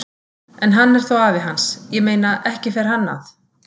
En hann er þó afi hans, ég meina, ekki fer hann að.